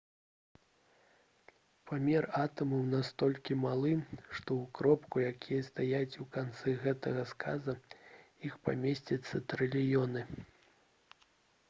памер атамаў настолькі малы што ў кропку якая стаіць у канцы гэтага сказа іх памесцяцца трыльёны